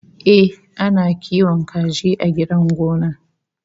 Ehh, ana kiwon kaji a gidan gona